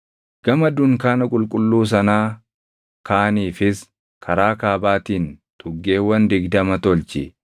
Gama dunkaana qulqulluu sanaa kaaniifis karaa kaabaatiin tuggeewwan digdama tolchi;